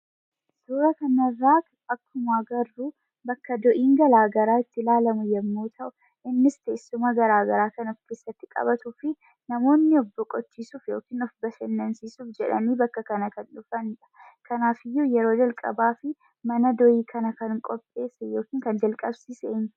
Suura kanarraa akkuma agarruu bakka do'iin garaa garaa itti laalamu yemmuu ta'u innis teessuma garaa garaa kan of keessatti qabatuu fi namoonni of boqochiisuf yookiin of bashannansiisuuf jedhanii bakka kana kan dhufanidha. Kanaafiyyuu yeroo jalqabaafi mana do'ii kana kan qopheesse yookin kan jalqabsiise eenyu?